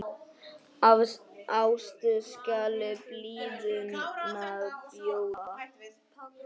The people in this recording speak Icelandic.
Af ást skal blíðuna bjóða.